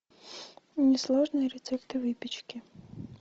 несложные рецепты выпечки